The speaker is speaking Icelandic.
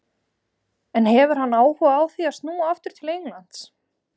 En hefur hann áhuga á því að snúa aftur til Englands?